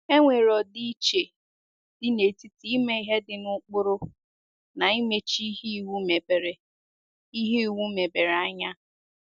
E nwere ọdịiche dị n’etiti ime ihe dị na ụkpụrụ na imechi ihe iwu mebere ihe iwu mebere anya.